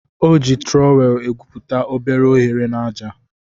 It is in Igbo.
O ji trọwel egwuputa obere ohere n'aja.